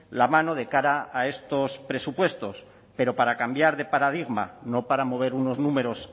la mano de cara a estos presupuestos pero para cambiar de paradigma no para mover unos números